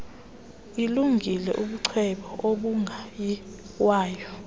ilungile ubucwebe obungayiwayo